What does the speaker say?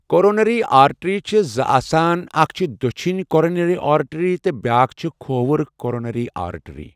Coronary artery چھِ زٕ آسان، اَکھ چھِ دۆچھِنی کورونَری آرٹری تہٕ بیٛاکھ چھِ کھووُر کورونَری آرٹری۔